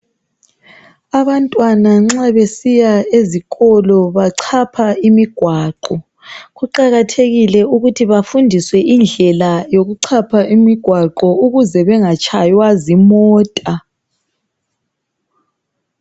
Abantwana nxa besiya ezikolo bachapha imigwaqo. Kuqakathekile ukuthi bafundiswe indlela yokuchapha umgwaqo ukuze bengatshaywa izimota.